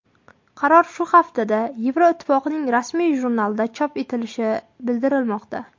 Qaror shu haftada Yevroittifoqning rasmiy jurnalida chop etilishi bildirilmoqda.